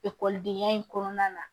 Ekɔlidenya in kɔnɔna na